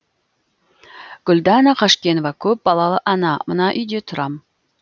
гүлдана қашкенова көп балалы ана мына үйде тұрам